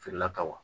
Feerela ka wa